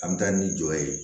An bɛ taa ni jɔ ye